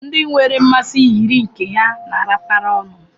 ndị nwere mmasị yiri nke ha na-arapara ọnụ